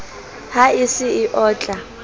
ha e se e otla